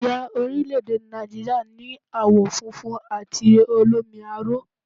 Àsìá orílẹ̀èdè Nàìjíríà ni àwọ̀ funfun àti olómi aró